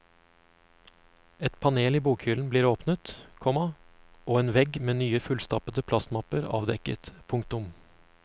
Et panel i bokhyllen blir åpnet, komma og en vegg med nye fullstappede plastmapper avdekket. punktum